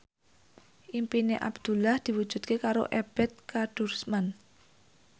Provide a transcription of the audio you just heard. impine Abdullah diwujudke karo Ebet Kadarusman